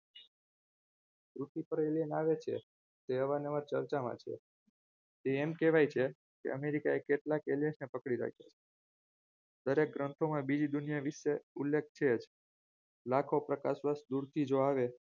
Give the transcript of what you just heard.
વિચિત્ર alien આવે છે તે અવારનવાર ચર્ચામાં છે તે એમ કહેવાય છે કે america એ કેટલાક alien પકડી રાખ્યા દરેક ગ્રંથોમાં બીજી દુનિયા વિશે ઉલ્લેખ છે જ લાખો પ્રકાશવર્ષ દૂરથી જો આવે